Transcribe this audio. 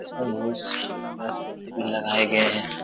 इसमें बोहुत लगाए गए है।